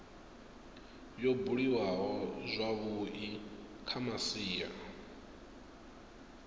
yo buliwaho zwavhui kha masia